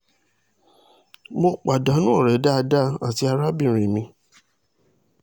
mo pàdánù ọ̀rẹ́ dáadáa àti arábìnrin mi